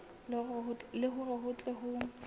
le hore ho tle ho